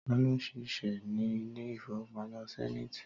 Tá ló ń ṣiṣẹ́ ní ilé ìfowópamọ́ Sẹ́niiti?